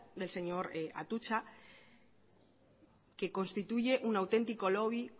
del señor atutxa que constituye un autentico lobby